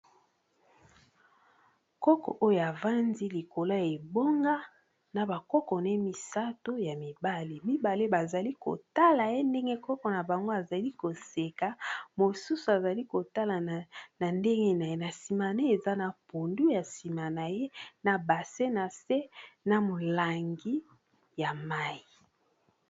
Koko oyo avandi likolo ya ebonga na ba koko ne misato ya mibali, mibale bazali kotala ye ndenge koko na bango azali ko seka mosusu azali kotala na ndenge na ye na nsima ne eza na pondu ya nsima na ye na bassin na se na molangi ya mayi.